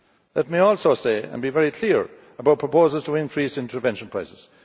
Let me also be very clear about proposals to increase intervention prices.